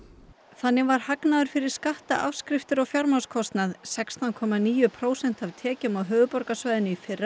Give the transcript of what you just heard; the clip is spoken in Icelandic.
þannig var hagnaður fyrir skatta afskriftir og fjármagnskostnað sextán komma níu prósent af tekjum á höfuðborgarsvæðinu í fyrra